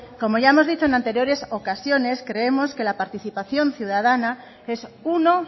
como ya hemos dicho en anteriores ocasiones creemos que la participación ciudadana es uno